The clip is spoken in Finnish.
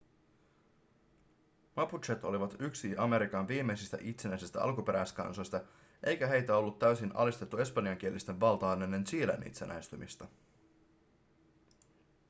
mapuchet olivat myös yksi amerikan viimeisistä itsenäisistä alkuperäiskansoista eikä heitä ollut täysin alistettu espanjankielisten valtaan ennen chilen itsenäistymistä